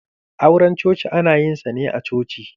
Auran coci ana yin sa ne a coci.